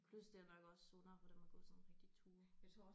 Plus det er nok også sundere for dem at gå sådan rigtige ture